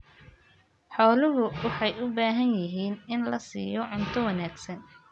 Xooluhu waxay u baahan yihiin in la siiyo cunto wanaagsan.